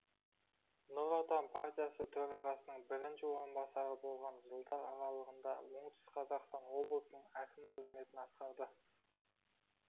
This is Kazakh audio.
нұр отан партиясы төрағасының бірінші орынбасары болған жылдар аралығында оңтүстік қазақстан облысының әкімі қызметін атқарды